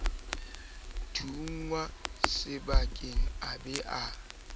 thunngwa sephakeng a ba a